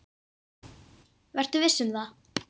Vertu viss um það.